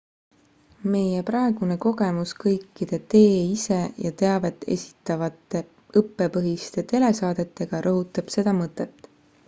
meie praegune kogemus kõikide tee-ise ja teavet esitavate õppepõhiste telesaadetega rõhutab seda mõtet